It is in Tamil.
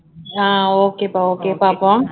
அஹ் okay பா okay பாப்போம்